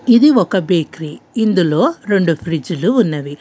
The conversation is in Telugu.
ఇది ఒక బేకరీ ఇందులో రెండు ఫ్రిడ్జ్ లు ఉన్నవి.